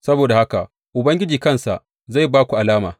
Saboda haka Ubangiji kansa zai ba ku alama.